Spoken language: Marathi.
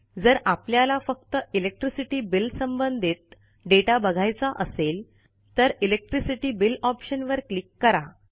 जर आपल्याला फक्त इलेक्ट्रिसिटी बिल संबंधित दाता बघायचा असेल तर इलेक्ट्रिसिटी बिल ऑप्शन वर क्लिक करा